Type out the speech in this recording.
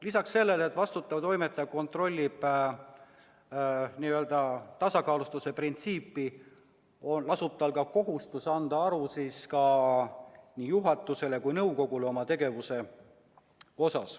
Lisaks sellele, et vastutav toimetaja kontrollib tasakaalustatuse printsiibi täitmist, lasub tal ka kohustus anda aru oma tegevusest nii juhatusele kui ka nõukogule.